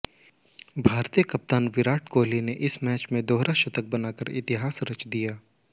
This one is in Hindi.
भारतीय कप्तान विराट कोहली ने इस मैच में दोहरा शतक बनाकर इतिहास रच दिया